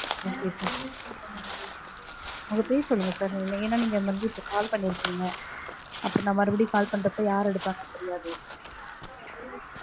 okay sir உங்க பேர் சொல்லுங்க sir. ஏன்னா நீங்க வந்து இப்போ call பண்ணிருக்கீங்க. அப்பறம் நா மறுபடியும் call பண்றப்போ யார் எடுப்பாங்கனு தெரியாது.